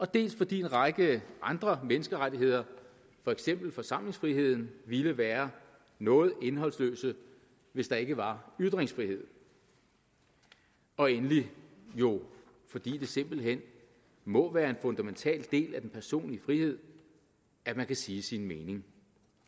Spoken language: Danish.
dels fordi en række andre menneskerettigheder for eksempel forsamlingsfriheden ville være noget indholdsløse hvis der ikke var ytringsfrihed og endelig jo fordi det simpelt hen må være en fundamental del af den personlige frihed at man kan sige sin mening